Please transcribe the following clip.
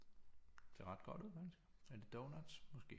Det ser ret godt ud faktisk er det donuts måske